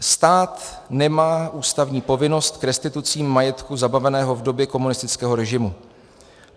Stát nemá ústavní povinnost k restitucím majetku zabaveného v době komunistického režimu.